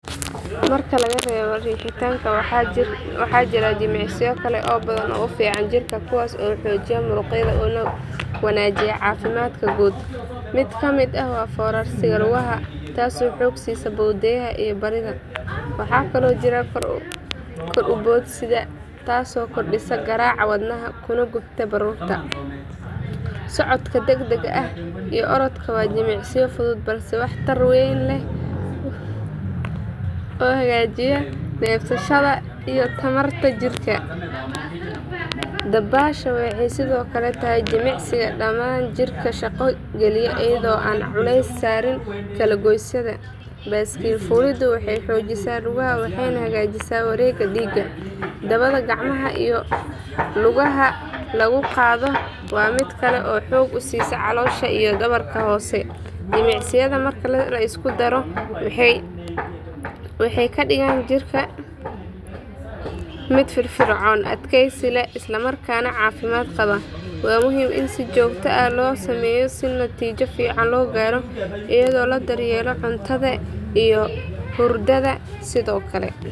Marka laga reebo riixitanka waxaa jira jimicsiyo kale oo badan oo u fiican jirka kuwaas oo xoojiya murqaha una wanaajiya caafimaadka guud. Mid kamid ah waa foorarsiga lugaha taasoo xoog siisa bowdyaha iyo barida. Waxaa kaloo jira kor u boodista taasoo kordhisa garaaca wadnaha kuna gubta baruurta. Socodka degdega ah iyo orodka waa jimicsiyo fudud balse wax tar weyn leh oo hagaajiya neefsashada iyo tamarta jirka. Dabaasha waxay sidoo kale tahay jimicsi dhammaan jidhka shaqo geliya iyadoo aan culays saarin kala goysyada. Baaskiil fuuliddu waxay xoojisaa lugaha waxayna hagaajisaa wareegga dhiigga. Dabaqa gacmaha iyo lugaha lagu qaado waa mid kale oo xoog u siiya caloosha iyo dhabarka hoose. Jimicsiyadan marka la isku daro waxay ka dhigayaan jirka mid firfircoon, adkaysi leh, isla markaana caafimaad qaba. Waa muhiim in si joogto ah loo sameeyo si natiijo fiican loo gaaro iyadoo la daryeelayo cuntada iyo hurdada sidoo kale.